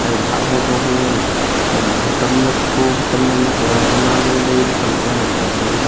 ambo ma hah ho zoho ngan ley abo otom ma tho otom ma nak la zang ma ku lalai lay khanak ngan ang kap ley.